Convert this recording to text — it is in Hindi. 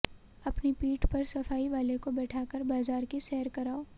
अपनी पीठ पर सफाई वाले को बैठाकर बाजार की सैर कराओ